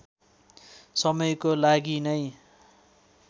समयको लागि नै